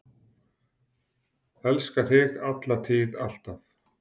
Elska þig, alla tíð, alltaf.